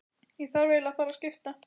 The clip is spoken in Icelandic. Ég þarf eiginlega að fara að skipta.